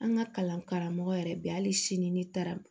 An ka kalan karamɔgɔ yɛrɛ bɛ hali sini n'i taara